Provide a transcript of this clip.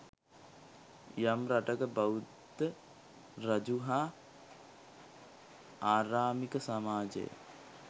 යම් රටක බෞද්ධ රජු හා ආරාමික සමාජය